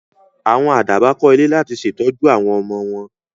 Àwọn Àdàbà kó ilé láti ṣe tọ́jú àwọn ọmọ wọn